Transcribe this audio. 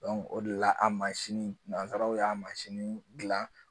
o de la a mansinin nansaraw y'a mansin dilan